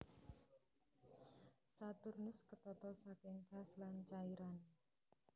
Saturnus ketata saking gas lan cairan